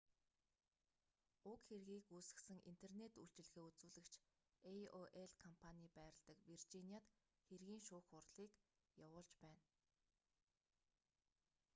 уг хэргийг үүсгэсэн интернет үйлчилгээ үзүүлэгч aol компаний байрладаг виржиниад хэргийн шүүх хурлыг явуулж байна